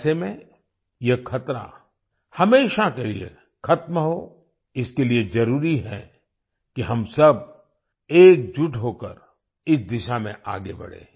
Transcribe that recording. ऐसे में यह खतरा हमेशा के लिए ख़त्म हो इसके लिए जरुरी है कि हम सब एकजुट होकर इस दिशा में आगे बढ़ें